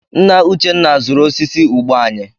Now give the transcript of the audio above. Nna Uchenna zụrụ osisi ụgba anyị.